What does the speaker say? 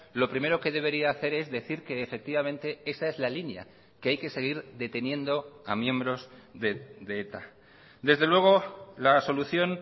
lo primero que debería hacer es decir que efectivamente esa es la línea que hay que seguir deteniendo a miembros de eta desde luego la solución